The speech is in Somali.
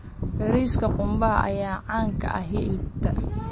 Bariiska qumbaha ayaa caan ka ah xeebta.